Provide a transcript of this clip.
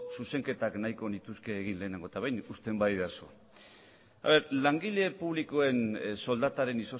zuzenketak nahiko nituzke egin lehenengo eta behin uzten badidazu langile publikoen soldataren